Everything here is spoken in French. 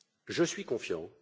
Je suis confiant.